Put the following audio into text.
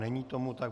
Není tomu tak.